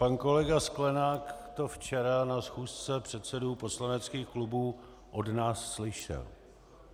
Pan kolega Sklenák to včera na schůzce předsedů poslaneckých klubů od nás slyšel.